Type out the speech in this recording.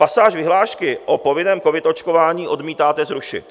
Pasáž vyhlášky o povinném covid očkování odmítáte zrušit.